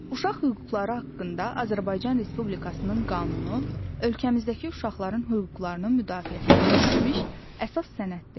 Uşaq hüquqları haqqında Azərbaycan Respublikasının qanunu ölkəmizdəki uşaqların hüquqlarının müdafiəsinə yönəlmiş əsas sənəddir.